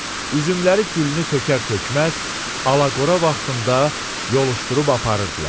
Üzümləri gülünü tökər-tökməz, alaqora vaxtında yoluşdurub aparırdılar.